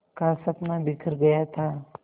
का सपना बिखर गया था